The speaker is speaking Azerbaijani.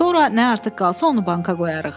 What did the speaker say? Sonra nə artıq qalsa, onu banka qoyarıq.